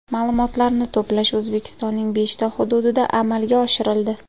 Ma’lumotlarni to‘plash O‘zbekistonning beshta hududida amaga oshirildi.